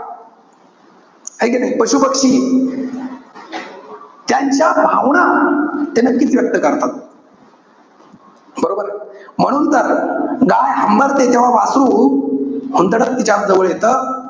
है का नाई? पशु-पक्षी, त्यांच्या भावना ते नक्कीच व्यक्त करतात. बरोबर ए? म्हणून तर, गाय हंबरते तेव्हा, वासरू हुंदडत तिच्याजवळ येतं.